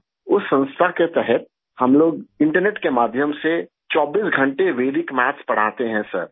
اس ادارہ کے تحت ہم لوگ انٹرنیٹ کے توسط سے 24 گھنٹے ویدک میتھ پڑھاتے ہیں سر